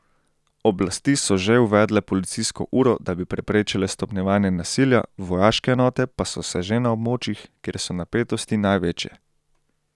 Oblasti so že uvedle policijsko uro, da bi preprečile stopnjevanje nasilja, vojaške enote pa so se že na območjih, kjer so napetosti največje.